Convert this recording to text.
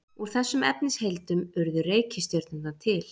Úr þessum efnisheildum urðu reikistjörnurnar til.